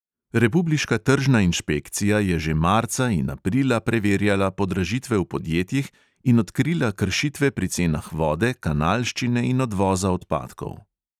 Republiška tržna inšpekcija je že marca in aprila preverjala podražitve v podjetjih in odkrila kršitve pri cenah vode, kanalščine in odvoza odpadkov.